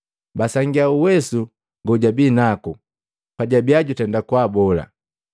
Basangia uwesu gojabinaku pajabiya jutenda kubola.